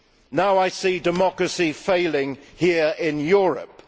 Now I see democracy failing here in Europe.